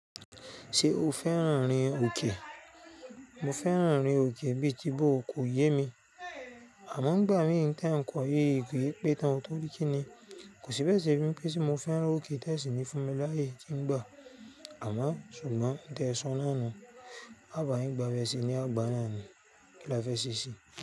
Ṣé o fẹ́ràn rin òkè? Mo fẹ́ràn rin òkè bí i tí bó o kò yé mi. Àmọ́ ngbà mí n tà nkò yiì ki pe tán torí kí ni kò sí be sẹ bi mi pé se mo fẹ́ràn òkè tẹ́síìnì fún mi láàyè tí ń gbà. Àmọ́ ṣùgbọ́n n tẹ so náànú, à bayin gba bẹ́ se ní àgbà náà ni kí la fẹ́ ṣèṣì.